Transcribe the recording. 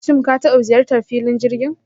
shim ka taba ziyartan filon jirgin?